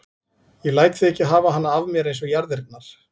Ég læt þig ekki hafa hana af mér eins og jarðirnar.